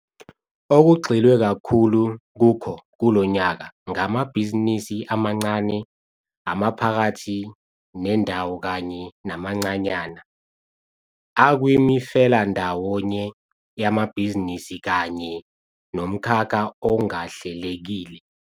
Okugxilwe kakhulu kukho kulo nyaka ngamabhizinisi amancane, amaphakathi nendawo kanye namancanyana, akwimifelandawonye yamabhizinisi kanye nomkhakha ongahlelekile.